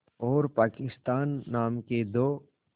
और पाकिस्तान नाम के दो